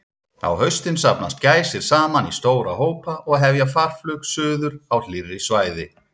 Á haustin safnast gæsir saman í stóra hópa og hefja farflug suður á hlýrri svæði.